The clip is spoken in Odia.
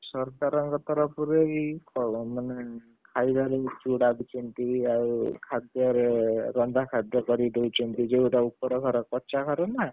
ସରକାରଙ୍କ ତରଫରୁ ଏଇ ଫଳ ମାନେଖାଇବାରେ ଚୂଡା ଆଉ ଖାଦ୍ୟରେ ରନ୍ଧା ଖାଦ୍ୟ କରି ଦେଉଛନ୍ତି, ଯୋଉଟା ଉପର ଘର କଚ୍ଚା ଘରନା!